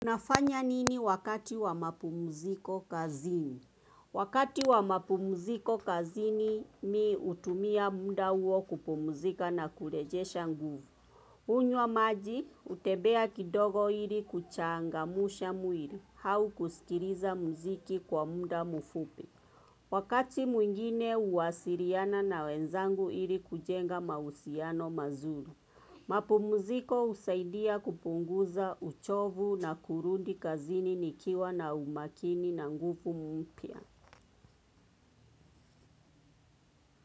Unafanya nini wakati wa mapumziko kazini? Wakati wa mapumziko kazini mimi hutumia muda huo kupumzika na kurejesha nguvu. Hunywa maji, hutembea kidogo ili kuchangamsha mwili, au kusikiliza muziki kwa muda mfupi. Wakati mwingine huwasiliana na wenzangu ili kujenga mahusiano mazuri. Mapumziko husaidia kupunguza uchovu na kurudi kazini nikiwa na umakini na nguvu mpya.